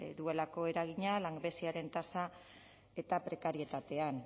duelako eragina langabeziaren tasa eta prekarietatean